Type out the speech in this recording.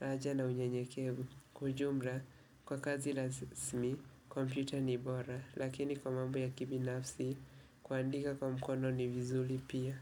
raja na unye nyekevu. Kwa ujumla, kwa kazi rasmi, kompyuta ni bora, lakini kwa mambo ya kibinafsi, kuandika kwa mkono ni vizuri pia.